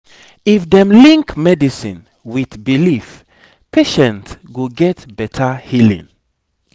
if dem link medicine with belief patient go get better healing